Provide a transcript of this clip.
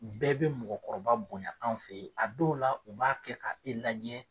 Bɛɛ bɛ mɔgɔ kɔrɔba bonya an fɛ yen a dɔw la u b'a kɛ ka e lajɛ.